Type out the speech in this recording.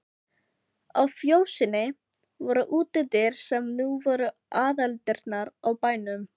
Á fjósinu voru útidyr sem nú voru aðaldyrnar á bænum.